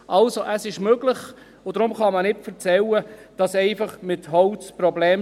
Also: Es ist möglich, und deshalb kann man nicht erzählen, mit Holz schaffe man einfach Probleme.